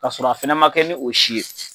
Ka sɔrɔ a fɛnɛ ma kɛ ni o si ye.